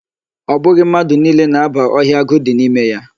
Ọ bụghị mmadụ niile na-aba ọhịa agụ dị n'ime ya.